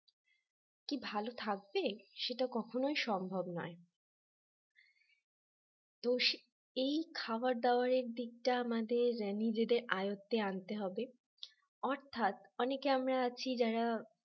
কি ভাল থাকবে সেটা কখনোই সম্ভব নয় তো এই খাবার দাবারের দিকটা আমাদের নিজেদের আয়ত্তে আনতে হবে অর্থাৎ অনেকে আমরা আছি যারা